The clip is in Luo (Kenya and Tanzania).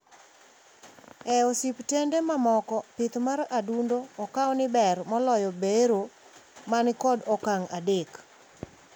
E ospitende mamoko, pith mar adundo okau ni ber moloyo bero manikod okang` adek.